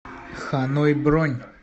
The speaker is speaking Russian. ханой бронь